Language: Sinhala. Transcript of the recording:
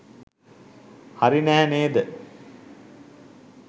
හරි නැහැ නේද?